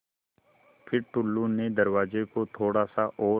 फ़िर टुल्लु ने दरवाज़े को थोड़ा सा और